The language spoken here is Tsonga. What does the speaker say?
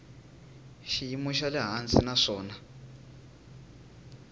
xiyimo xa le hansi naswona